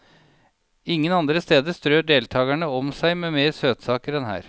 Ingen andre steder strør deltagerne om seg med mer søtsaker enn her.